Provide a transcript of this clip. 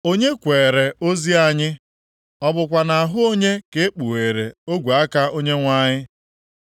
Onye kweere ozi anyị, ọ bụkwa nʼahụ onye ka e kpugheere ogwe aka Onyenwe anyị?